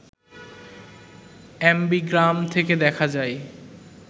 ambigram থাকতে দেখা যায়